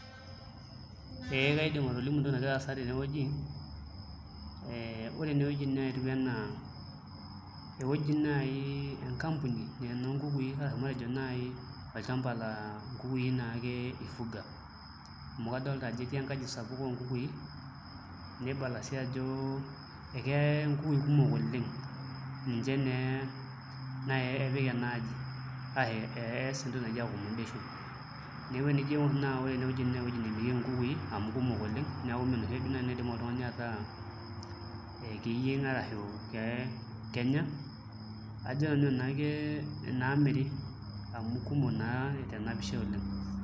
Ee kaidim atolimu entoki nagira aasa tenewueji, ore enewueji naa ketiu enaa enkampuni naa enoonkukui arashu matejo naai olchamba laa nkukui naake ifuga amu kadolta ajo etii enkaji sapuk oonkukui nibala sii ajo eke nkukui kumok oleng' ninche naa naai epik ena aji arashu ees entoki naji accommodation neeku enijo aing'orr naa ore enewueji naa ewuei naai naa ewuei nemirieki nkukui amu kumok oleng' neeku mee enoshi ake naidim oltung'ani ataa ee ekeyieng' arashu kenya ajo nanu enaa inaamiri amu kumok naa tena pisha oleng'.